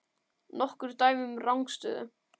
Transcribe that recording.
Nokkur dæmi um rangstöðu?